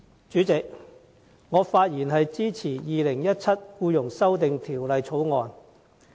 主席，我發言支持《2017年僱傭條例草案》。